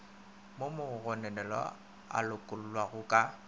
mo mogononelwa a lokollwago ka